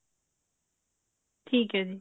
ਠੀਕ ਹੈ ਜੀ